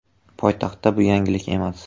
Poytaxtda bu yangilik emas.